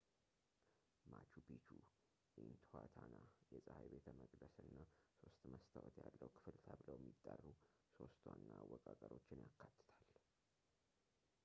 ማቹ ፒቹ ኢንትኋታና የጸሐይ ቤተ መቅደስ እና ሶስት መስታወት ያለው ክፍል ተብለው የሚጠሩ ሶስት ዋና አወቃቀሮችን ያካትታል